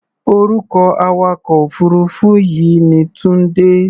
Orúkọ awakọ̀-òfuurufú yìí ni Tunde.